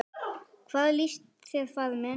Hvað líst þér, faðir minn?